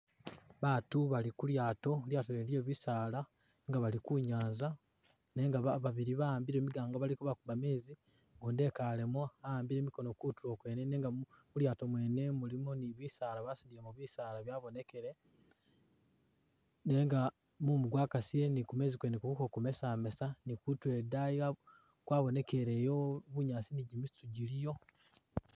Baatu Bali kulyato ilyato lyene lye’bisala nenga bali kunyanza nenga babili bawambile migango bali kebakuba mezi gundi ekalemo awambike mikono kutulo kwene nenga mulyato mwene mulimo ni bisala basudilemo bisala byabonekele nenga mumu gwakasile ni kumezi kwene guliko kumesamesa nekutulo edeyi kwabonekeleyo bunyaasi nijimisito jiliyo .